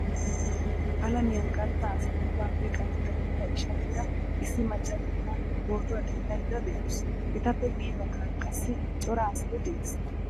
Alamiyan qantta asan ubbappe qantta gidida ishaliira issi macca na'iyaa pootuwaa denddaydda deawusu Etappe guye baggaara qassi cora asay de'ees.